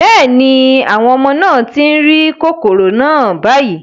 Bẹ́ẹ̀ ni, àwọn ọmọ náà tí ń rí kòkòrò náà báyìí